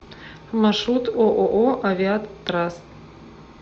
маршрут ооо авиатраст